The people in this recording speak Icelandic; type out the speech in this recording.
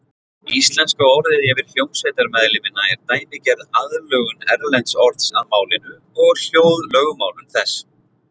Íslenska orðið yfir hljómsveitarmeðlimina er dæmigerð aðlögun erlends orðs að málinu og hljóðlögmálum þess.